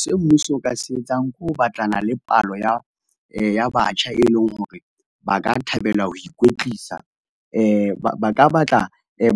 Se mmuso o ka se etsang, ke ho batlana le palo ya ya batjha, e leng hore ba ka thabela ho ikwetlisa. Ba ka batla